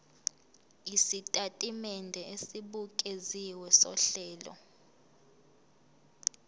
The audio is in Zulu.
isitatimende esibukeziwe sohlelo